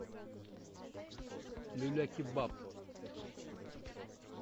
люля кебаб